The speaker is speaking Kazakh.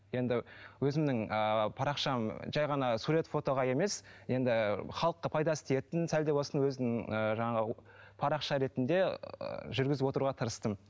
енді өзімнің ааа парақшам жай ғана сурет фотаға емес енді халыққа пайдасы тиетін сәл де болсын өзін ыыы жаңағы парақша ретінде жүргізіп отыруға тырыстым